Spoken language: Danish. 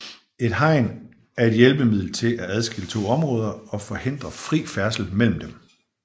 Et hegn er et hjælpemiddel til at adskille to områder og forhindre fri færdsel mellem dem